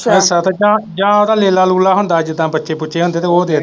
ਅੱਛਾ ਜਾਂ ਓਦਾ ਲੇਲਾ ਲੁਲਾ ਹੁੰਦਾ ਜਿਦਾ ਬੱਚੇ ਬੁਚੇ ਹੁੰਦੇ ਤੇ ਉਹ ਦੇ ਦਿੰਦੇ।